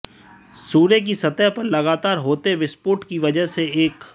सूर्य की सतह पर लगातार होते विस्फोट की वजह से एक